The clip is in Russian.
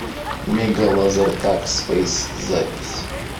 мегалазертаг спэйс запись